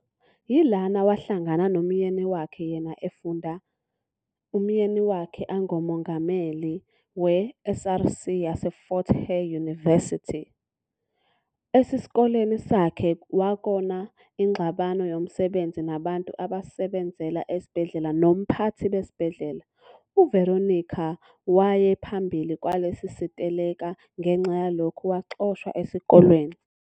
Yilana wa hlangana nomyeni wakhe yena efunda umyeni wakhe angomongameli we SRC yase Fort Hare yunivesithi. Esiskoleni sakhe wakona ingxabano yomsebenzi nabantu abasebenzela es'bhedlela nom'phate bes'bhedlela. uVeronica waye phambili kwalesi siteleka ngenxa yalokhu waxoshwa eskoleni.